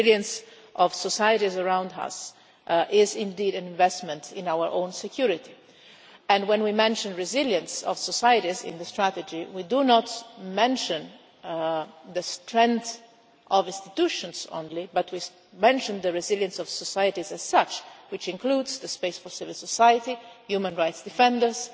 Resilience of societies around us is indeed an investment in our own security, and when we mention resilience of societies in the strategy we do not mention the strength of institutions only, but we mention the resilience of societies as such, which includes the space for civil society, human rights defenders